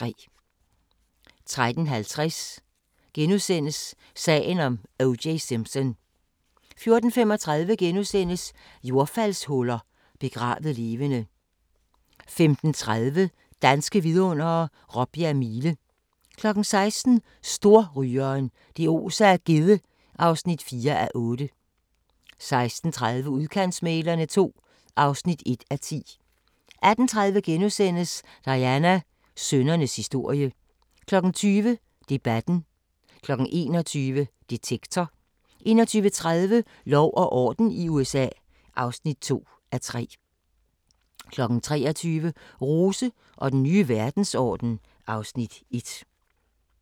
13:50: Sagen om O.J. Simpson * 14:35: Jordfaldshuller – begravet levende * 15:30: Danske Vidundere: Råbjerg Mile 16:00: Storrygeren – det oser af gedde (4:8) 16:30: Udkantsmæglerne II (1:10) 18:30: Diana – sønnernes historie * 20:00: Debatten 21:00: Detektor 21:30: Lov og orden i USA (2:3) 23:00: Rose og den nye verdensorden (Afs. 1)